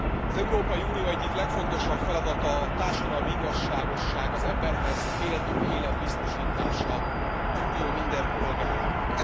Az Európai Unió egyik legfontosabb feladata a társadalmi igazságosság, az emberhez méltó élet biztosítása az Unió minden polgárának.